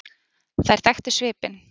Þær þekktu svipinn.